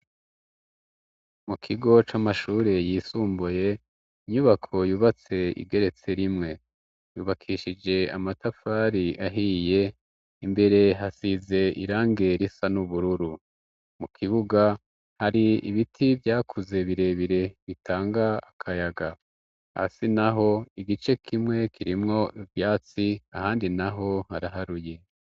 mukigo c'amashure yisumbuye inyubako yubatse igeretse rimwe yubakishije amatafari ahiye imbere hasize irange risa n'ubururu mu kibuga hari ibiti vyakuze birebire bitanga akayaga hasi naho igice kimwe kirimwo ivyatsi ahandi naho haraharuye